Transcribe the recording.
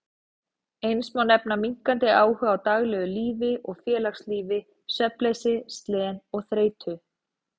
Eins má nefna minnkandi áhuga á daglegu lífi og félagslífi, svefnleysi, slen og þreytu.